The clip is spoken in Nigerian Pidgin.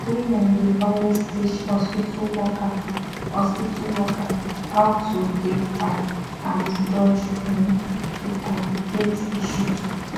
women dey always teach hospitu workers hospitu workers how to dey fine and dodge um to complicate issues